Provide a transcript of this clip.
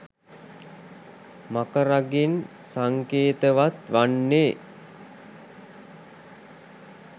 මකරාගෙන් සංකේතවත් වන්නේ